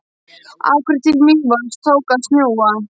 Akureyri til Mývatns tók að snjóa.